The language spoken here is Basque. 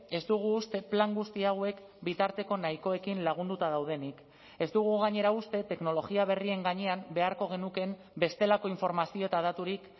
ez dugu uste plan guzti hauek bitarteko nahikoekin lagunduta daudenik ez dugu gainera uste teknologia berrien gainean beharko genukeen bestelako informazio eta daturik